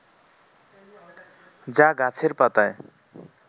যা গাছের পাতায়